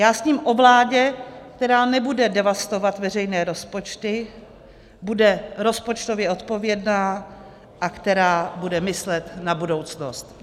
Já sním o vládě, která nebude devastovat veřejné rozpočty, bude rozpočtově odpovědná a která bude myslet na budoucnost.